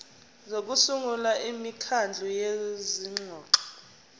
sokusungula imikhandlu yezingxoxo